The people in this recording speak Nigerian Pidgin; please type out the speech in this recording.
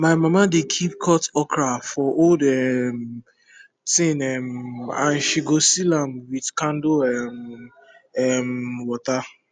my mama dey keep cut okra for old um tin um and she go seal am with candle um um water